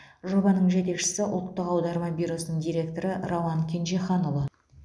жобаның жетекшісі ұлттық аударма бюросының директоры рауан кенжеханұлы